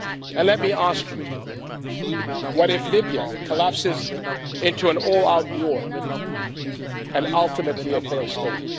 And let me ask you what if Libya collapses into an all out war, and ultimately, a failed state?